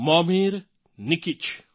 Momir Nikic